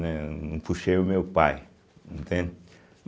Né, não puxei o meu pai, entende.